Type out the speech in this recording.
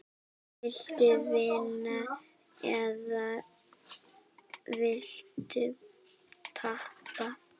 Viltu vinna eða viltu tapa?